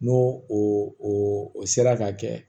N'o o o sera ka kɛ